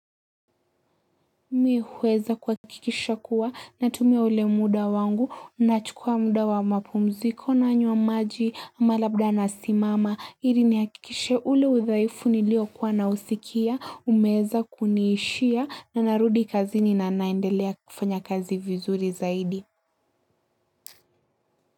Mi huweza kuhakikisha kuwa natumia ule muda wangu nachukua muda wa mapumziko nanywa maji ama labda nasimama ili nihakikishe ule udhaifu niliokuwa na usikia umeweza kuniishia na narudi kazi na naendelea kufanya kazi vizuri zaidi.